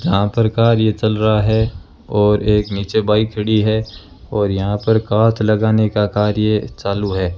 जहां प्रकार ये चल रहा है और एक नीचे बाइक खड़ी है और यहां पर काउथ़ लगने का कार्य चालू है।